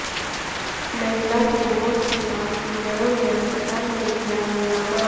महिला के मौत के बाद किन्नरों ने अस्पताल में किया हंगामा